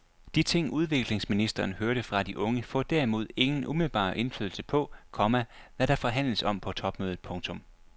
De ting udviklingsministeren hørte fra de unge får derimod ingen umiddelbar indflydelse på, komma hvad der forhandles om på topmødet. punktum